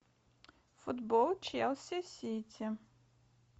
футбол челси сити